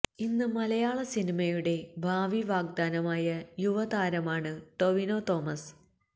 ഇന്ന് മലയാള സിനിമയുടെ ഭാവി വാഗ്ദാനമായ യുവതരമാണ് ടോവിനോ തോമസ്